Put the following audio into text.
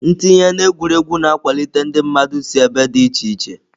Ntinye na egwuregwu na-akwalite ndị mmadụ si ebe dị iche iche.